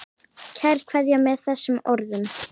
Kær kveðja með þessum orðum.